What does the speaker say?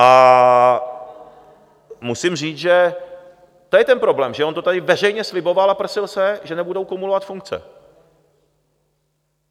A musím říct, že to je ten problém, že on to tady veřejně sliboval a prsil se, že nebudou kumulovat funkce.